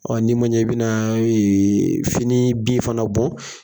Ɔ n'i ma ɲɛ i bɛna fini bin fana bɔ